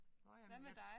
Nåh ja men jeg